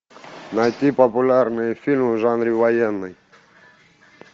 найти популярные фильмы в жанре военный